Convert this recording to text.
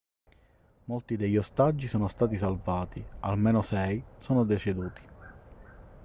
molti degli ostaggi sono stati salvati almeno sei sono deceduti